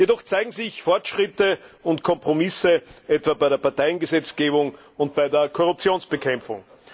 Doch zeigen sich Fortschritte und Kompromisse etwa bei der Parteiengesetzgebung und bei der Korruptionsbekämpfung.